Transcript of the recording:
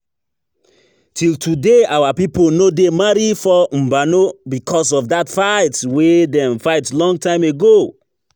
Till today our people no dey marry for Mbano because of that fight wey dem fight long time ago